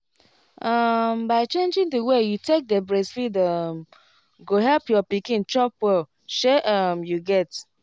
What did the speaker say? um by changing the way you take dey breastfeed um go help your pikin chop well shey um you get